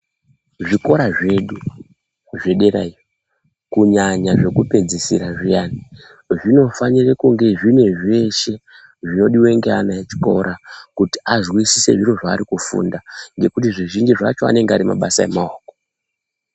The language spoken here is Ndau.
Zvikora zvedu zvedera iyo kunyanya zvekupedzisira zviyani zvinofanira kunge zvine zveshe zvinodiwa neana echikora kuti azwisise zviro zvako kufunda ngekuti zvizhinji zvacho anenge Ari mabasa emaoko.